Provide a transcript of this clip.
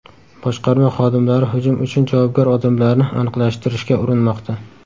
Boshqarma xodimlari hujum uchun javobgar odamlarni aniqlashtirishga urinmoqda.